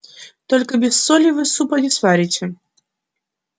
только без соли вы супа не сварите